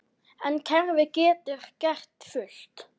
En kerfið getur gert fullt.